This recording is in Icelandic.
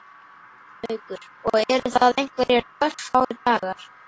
Haukur: Og eru það einhverjir örfáir dagar?